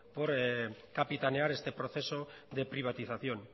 por capitanear este proceso de privatización